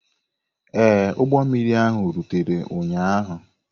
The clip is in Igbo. Ee, ụgbọ mmiri ahụ rutere ụnyaahụ.